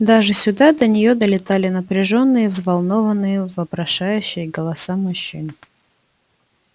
даже сюда до неё долетали напряжённые взволнованные вопрошающие голоса мужчин